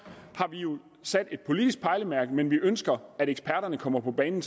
har vi jo sat et politisk pejlemærke men vi ønsker at eksperterne kommer på banen